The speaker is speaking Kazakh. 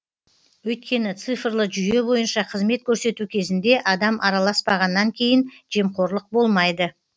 өйткені цифрлы жүйе бойынша қызмет көрсету кезінде адам араласпағаннан кейін жемқорлық болмайды